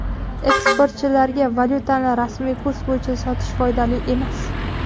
Eksportchilarga valyutani rasmiy kurs bo‘yicha sotish foydali emas.